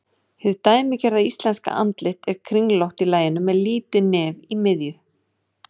Hið dæmigerða íslenska andlit er kringlótt í laginu með lítið nef í miðju.